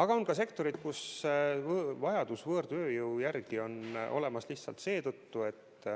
Aga on ka sektoreid, kus vajadus võõrtööjõu järele on olemas lihtsalt seetõttu, et